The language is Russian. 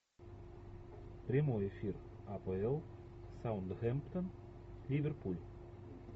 прямой эфир апл саутгемптон ливерпуль